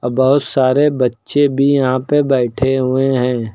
बहोत सारे बच्चे भी यहां पे बैठे हुए हैं।